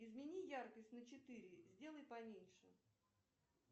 измени яркость на четыре сделай поменьше